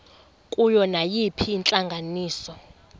kuyo nayiphina intlanganiso